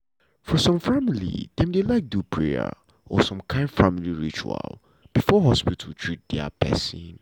for some family dem dey like do prayer or some kind family ritual before hospital treat dia pesin.